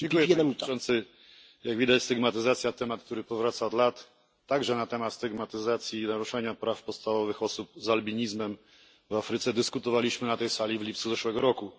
Panie Przewodniczący! Jak widać, stygmatyzacja to temat, który powraca od lat. Także na temat stygmatyzacji i naruszania praw podstawowych osób z albinizmem w Afryce dyskutowaliśmy na tej sali w lipcu zeszłego roku.